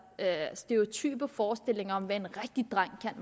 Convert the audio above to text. stereotype forestillinger om hvad en rigtig dreng kan